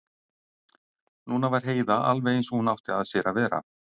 Núna var Heiða alveg eins og hún átti að sér að vera.